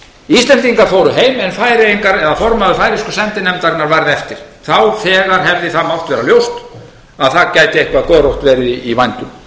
íslendingar fóru heim en færeyingar eða formaður færeysku sendinefndarinnar varð eftir þá þegar hefði það mátt vera ljóst að það gæti eitthvað görótt verið í vændum